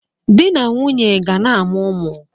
Di na nwunye ga na-amụ ụmụ